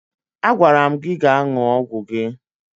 Agwara m gị gaa ṅụọ ọgwụ gị!